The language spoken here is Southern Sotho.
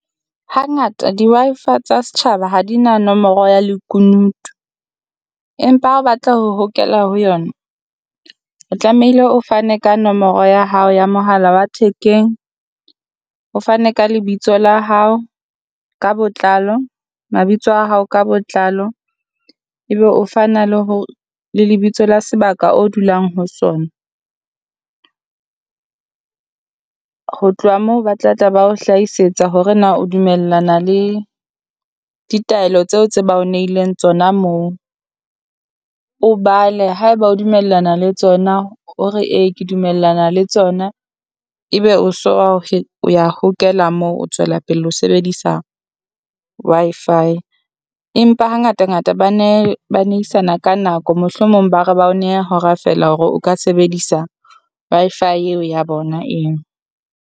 Hangata di Wi-Fi tsa setjhaba ha di na nomoro ya lekunutu, empa ha o batla ho hokela ho yona, o tlamehile o fane ka nomoro ya hao ya mohala wa thekeng. O fane ka lebitso la hao ka botlalo, mabitso a hao ka botlalo ebe o fa na le hore le lebitso la sebaka o dulang ho sona. Ho tloha moo ba tla tla ba o hlahisetsa hore na o dumellana le ditaelo tseo tse ba o nehileng tsona moo, o bale haeba o dumellana le tsona o re e ke dumellana le tsona ebe o so o ya hokela moo. O tswela pelle o sebedisa Wi-Fi, empa hangata ngata ba ne ba nehisana ka nako mohlomong ba re ba o neha hora feela hore o ka sebedisa Wi-Fi eo ya bona eo.